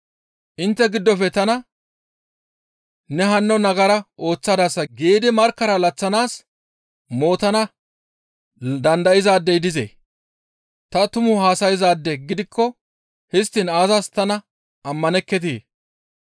Intte giddofe tana, ‹Ne hanno nagara ooththadasa› giidi markkara laththanaas mootana dandayzaadey dizee? Ta tumu haasayzaade gidikko histtiin aazas tana ammanekketii?